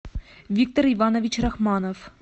виктор иванович рахманов